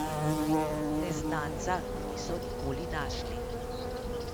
Neznanca niso nikoli našli.